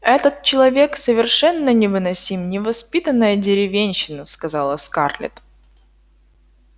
этот человек совершенно невыносим невоспитанная деревенщина сказала скарлетт